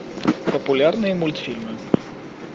популярные мультфильмы